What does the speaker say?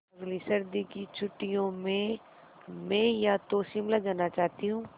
अगली सर्दी की छुट्टियों में मैं या तो शिमला जाना चाहती हूँ